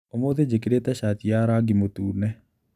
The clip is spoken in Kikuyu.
ũmũthĩ njĩkĩrĩte cati ya rangi mũtune.